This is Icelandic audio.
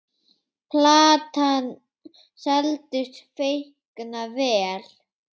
Platan seldist feikna vel.